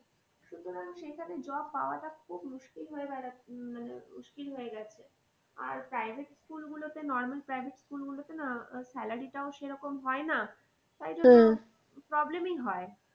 সুতরাং সেখানে job পাওয়াটা খুব মুশকিল হয়ে উম মানে মুশকিল হয়ে গেছে। আর private school গুলোতে normal package school গুলোতে না salary টাও সে রকম হয় না। problem ই হয়।